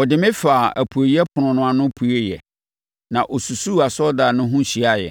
ɔde me faa apueeɛ ɛpono no ano pueeɛ, na ɔsusuu asɔredan no ho hyiaaɛ.